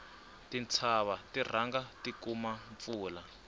tintshava ti rhanga ti kuma mpfula